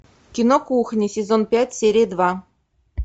кино кухня сезон пять серия два